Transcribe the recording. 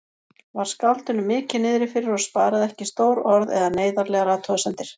Var skáldinu mikið niðrifyrir og sparaði ekki stór orð eða neyðarlegar athugasemdir.